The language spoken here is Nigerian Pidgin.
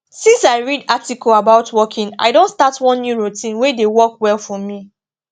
since i read article about walking i don start one new routine wey dey work well for me